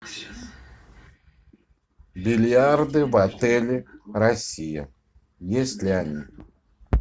бильярды в отеле россия есть ли они